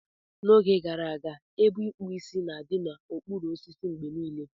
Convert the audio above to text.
N'oge gara aga, ebe ikpu Ịsị na-adị n'okpuru osisi mgbe niile.